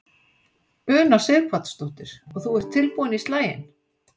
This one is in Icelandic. Una Sighvatsdóttir: Og þú ert tilbúinn í slaginn?